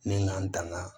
Ni n ka n tanga